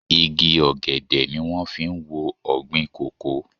Igi ọ̀gẹ̀dẹ̀ ni wón fi ń wo ọ̀gbìn kòkó.